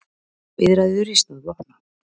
Viðræður í stað vopna